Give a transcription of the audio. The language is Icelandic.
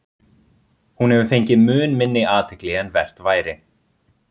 Hún hefur fengið mun minni athygli en vert væri.